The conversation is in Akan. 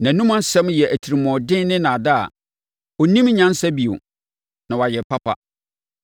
Nʼanom nsɛm yɛ atirimuɔden ne nnaadaa; ɔnnim nyansa bio, na wayɛ papa.